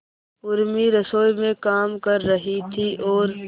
उर्मी रसोई में काम कर रही थी और